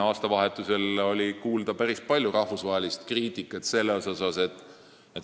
Aastavahetusel oli tema kohta kuulda päris palju rahvusvahelist kriitikat.